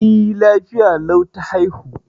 E, lafiya lau ta haihu.